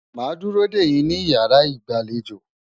ma duro deyin ni iyara igbalejo.